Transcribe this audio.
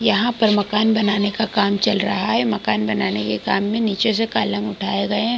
यहाँ पर मकान बनाने का काम चल रहा है मकान बनाने के काम में नीचे से कॉलम उठाये गए हैं ।